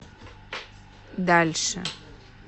дальше